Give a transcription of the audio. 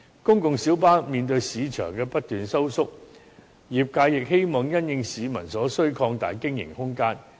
公共小巴面對市場不斷收縮，業界亦希望因應市民所需擴大經營空間。